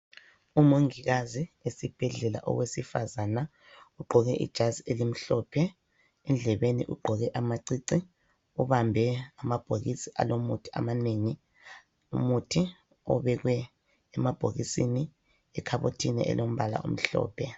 Umongikazi esibhedlela, owesifazana ugqoke ijazi elimhlophe. Endlebeni ugqoke amacici, ubambe amabhokisi alomuthi amanengi. Umuthi obekwe emabhokisini ekhabothini alombala omhlophe.